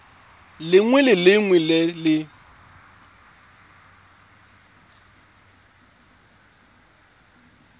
lengwe le lengwe le le